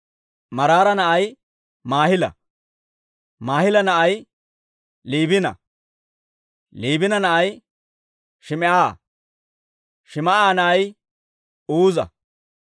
Maraara na'ay Maahila; Maahila na'ay Liibina; Liibina na'ay Shim"a; Shim"a na'ay Uuza;